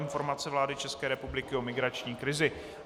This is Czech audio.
Informace vlády České republiky o migrační krizi.